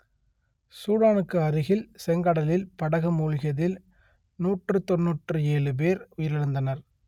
சூடானுக்கு அருகில் செங்கடலில் படகு மூழ்கியதில் நூற்று தொன்னூற்று ஏழு பேர் உயிரிழந்தனர்